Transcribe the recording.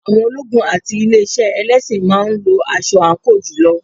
Àwọn ológun àti ilé iṣẹ́ ẹlẹ́sìn máa ń lo aṣọ àǹkóò jùlọ.